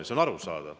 See on arusaadav.